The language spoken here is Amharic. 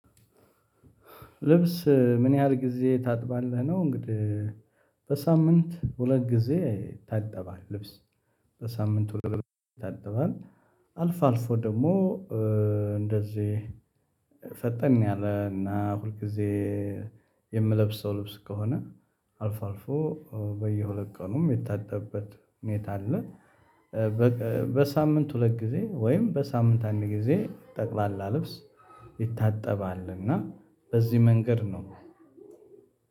ልብስ ምን ያህል ጊዜ ታጥባለህ ነው? እንግዲህ በሳምንት ሁለት ጊዜ ይታጠባል ልብስ በሳምንት ይታጠባል አልፎ አልፎ ደግሞ እንደዚህ ፈጠን ያለ እና ሁልጊዜ የምለብሰው ልብስ ከሆነ አልፎ አልፎ በየሁለት ቀኑም የሚታጠብበት ሁኔታ አለ። በሳምንት ሁለት ጊዜ ወይም በሳምንት አንድ ጊዜ ጠቅላላ ልብስ ይታጠባል። እና በዚህ መንገድ ነው።